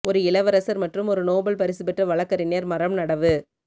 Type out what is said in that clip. ஒரு இளவரசர் மற்றும் ஒரு நோபல் பரிசு பெற்ற வழக்கறிஞர் மரம் நடவு